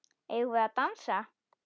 Eigum við að dansa?